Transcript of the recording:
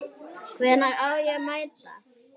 Hvenær á ég að mæta?